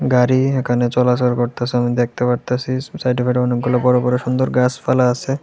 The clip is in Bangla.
গাড়ি এখানে চলাচল করতাছে আমি দেখতে পারতাছি সাইড ফের অনেকগুলো বড় বড় সুন্দর গাছপালা আছে।